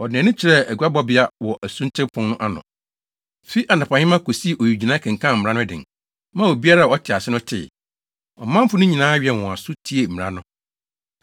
Ɔde nʼani kyerɛɛ aguabɔbea wɔ Asuten Pon no ano, fi anɔpahema kosii owigyinae kenkan mmara no den, maa obiara a ɔte ase no tee. Ɔmanfo no nyinaa wɛn wɔn aso tiee mmara no.